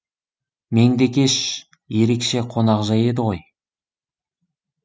меңдекеш ерекше қонақжай еді ғой